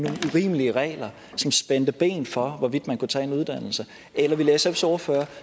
urimelige regler som spændte ben for hvorvidt man kunne tage en uddannelse eller ville sfs ordfører